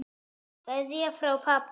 Kveðja frá pabba.